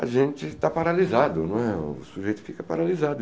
a gente está paralisado, não é o sujeito fica paralisado.